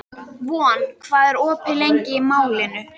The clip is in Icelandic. Von, hvað er opið lengi í Málinu?